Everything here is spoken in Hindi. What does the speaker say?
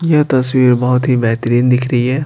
ये तस्वीर बहुत ही बेहतरीन दिख रही है।